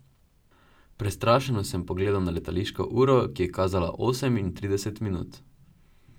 Prestrašeno sem pogledal na letališko uro, ki je kazala osem in trideset minut.